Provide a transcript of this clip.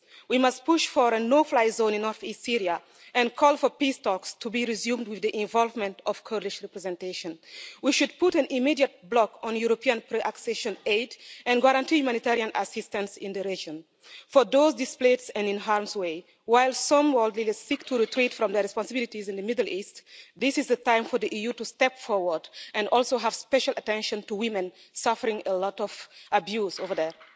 We must push for a no fly zone in north east Syria and call for peace talks to be resumed with the involvement of Kurdish representation. We should put an immediate block on European pre accession aid and guarantee humanitarian assistance in the region for those displaced and in harm's way. While some world leaders seek to retreat from their responsibilities in the Middle East, this is the time for the EU to step forward and also pay special attention to women suffering a lot of abuse over there.